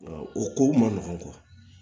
O kow man nɔgɔn